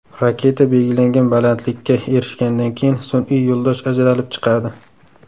Raketa belgilangan balandlikka erishgandan keyin sun’iy yo‘ldosh ajralib chiqadi.